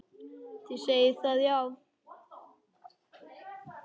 Þið segið það, já.